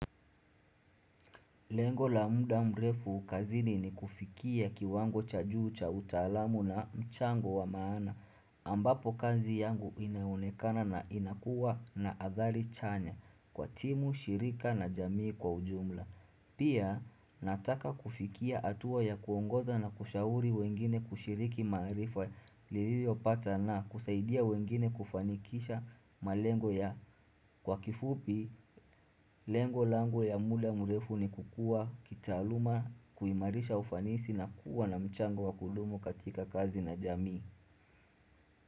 Lengo la muda mrefu kazini ni kufikia kiwango cha juu cha utalamu na mchango wa maana ambapo kazi yangu inaonekana na inakua na athali chanya kwa timu, shirika na jamii kwa ujumla. Pia nataka kufikia hatuwa ya kuongoza na kushauri wengine kushiriki maarifa li li opata na kusaidia wengine kufanikisha malengo ya kwa kifupi lengo langu ya muda mrefu ni kukua kitaluma kuimarisha ufanisi na kuwa na mchango wa kudumu katika kazi na jamii.